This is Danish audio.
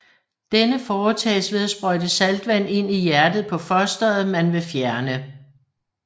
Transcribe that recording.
Denne foretages ved at sprøjte saltvand ind i hjertet på fosteret man vil fjerne